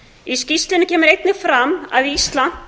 í skýrslunni kemur einnig fram að ísland